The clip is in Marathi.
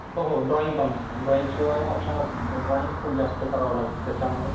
डोळे मिटून ती आपल्यावर प्रेम करते. डोळे मिटल्यावरही ती आपल्यावर प्रेम करते आणि डोळे वटारूनही ती आपल्यावर प्रेम करते. पण